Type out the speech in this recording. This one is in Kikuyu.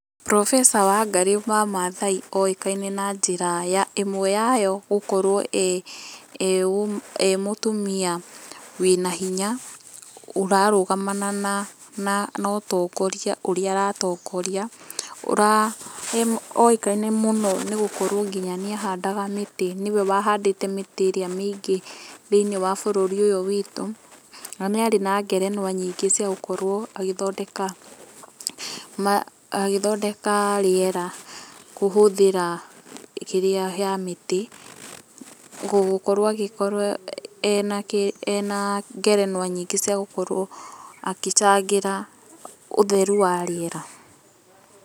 cs] Professor Wangarĩ wa Mathai oĩkaine na njĩra ya ĩmwe yayo gũkorwo ee ee ee mũtumia wĩna hinya, ũrarũgamana na na ũtongoria ũrĩa aratongoria. Oĩkaine mũno nĩgũkorwo nginya nĩahandaga mĩtĩ, nĩwe wa handĩte mĩtĩ ĩrĩa mĩingĩ thĩinĩ wa bũrũri ũyũ wĩtũ, na nĩarĩ na ngerenwa nyingĩ cia gũkorwo agĩthondeka agĩthondeka rĩera kũhũthĩra kĩrĩa ya mĩtĩ, gũkorwo agĩkorwo ena ena ngerenwa nyingĩ cia gũkorwo agĩcangĩra ũtheru wa rĩera.